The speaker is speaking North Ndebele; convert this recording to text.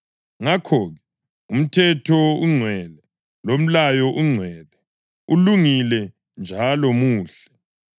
Ngakho-ke, umthetho ungcwele, lomlayo ungcwele, ulungile njalo muhle.